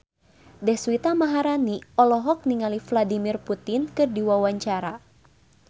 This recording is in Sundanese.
Deswita Maharani olohok ningali Vladimir Putin keur diwawancara